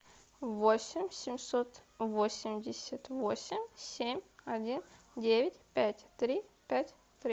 восемь семьсот восемьдесят восемь семь один девять пять три пять три